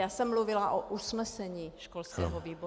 Já jsem mluvila o usnesení školského výboru.